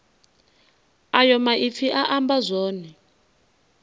ayo maipfi a amba zwone